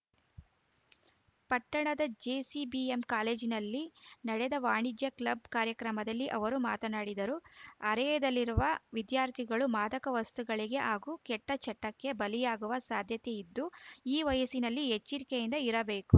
ಪಟ್ಟಣದ ಜೆಸಿಬಿಎಂ ಕಾಲೇಜಿನಲ್ಲಿ ನಡೆದ ವಾಣಿಜ್ಯ ಕ್ಲಬ್‌ ಕಾರ್ಯಕ್ರಮದಲ್ಲಿ ಅವರು ಮಾತನಾಡಿದರು ಹರೆಯದಲ್ಲಿರುವ ವಿದ್ಯಾರ್ಥಿಗಳು ಮಾದಕ ವಸ್ತುಗಳಿಗೆ ಹಾಗೂ ಕೆಟ್ಟಚಟಕ್ಕೆ ಬಲಿಯಾಗುವ ಸಾಧ್ಯತೆಯಿದ್ದು ಈ ವಯಸ್ಸಿನಲ್ಲಿ ಎಚ್ಚಿರಿಕೆಯಿಂದ ಇರಬೇಕು